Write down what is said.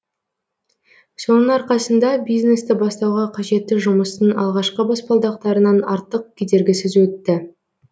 соның арқасында бизнесті бастауға қажетті жұмыстың алғашқы баспалдақтарынан артық кедергісіз өтті